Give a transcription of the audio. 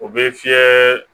O bɛ fiyɛ